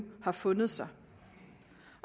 har fundet sig